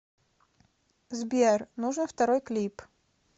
сбер нужен второй клип